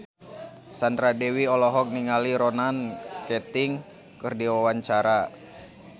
Sandra Dewi olohok ningali Ronan Keating keur diwawancara